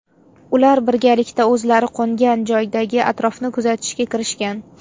Ular birgalikda o‘zlari qo‘ngan joydagi atrofni kuzatishga kirishgan.